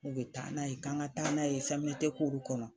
U be taa n'a ye k'an ŋa taa n'a ye CMDT kɔnɔ